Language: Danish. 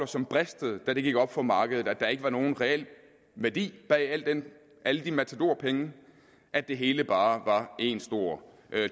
som bristede da det gik op for markedet at der ikke var nogen reel værdi bag alle de matadorpenge at det hele bare var en stor